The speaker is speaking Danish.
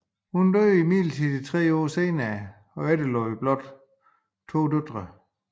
Hun døde imidlertid tre år senere og efterlod blot to døtre